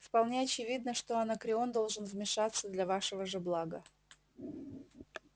вполне очевидно что анакреон должен вмешаться для вашего же блага